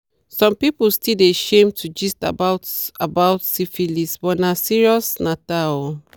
some people still dey shame to gist about about syphilis but na serius natter o